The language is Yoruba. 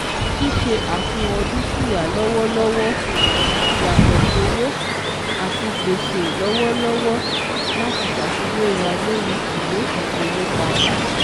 Ṣíṣe àfihàn dúkìá lọ́wọ́lọ́wọ́ (yàtọ̀ sówó) àti gbèsè lọ́wọ́lọ́wọ́ láti ṣàfiwéra lórí ìwé ìfowópamọ́